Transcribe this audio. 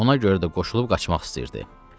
Ona görə də qoşulub qaçmaq istəyirdi.